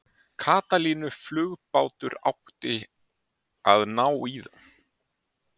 Katalínuflugbátur átti að ná í þá.